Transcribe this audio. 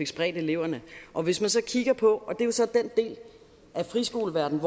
spredt eleverne og hvis man så kigger på friskoleverdenen